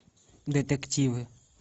детективы